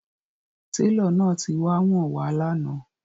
Tẹlọ náà ti wá wọn wà̀ lànà